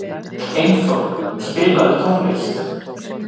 Einþór, spilaðu tónlist.